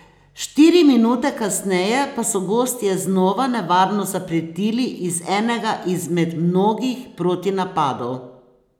Štiri minute kasneje pa so gostje znova nevarno zapretili iz enega iz med mnogih protinapadov.